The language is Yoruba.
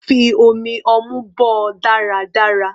Fi omi ọmú bọ́ ọ dáradára.